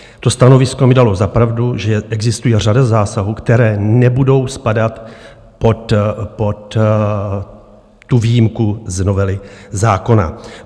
To stanovisko mi dalo za pravdu, že existuje řada zásahů, které nebudou spadat pod výjimku z novely zákona.